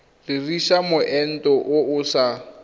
dirisa moento o o sa